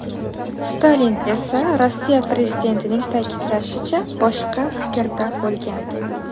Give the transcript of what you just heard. Stalin esa, Rossiya prezidentining ta’kidlashicha, boshqa fikrda bo‘lgan.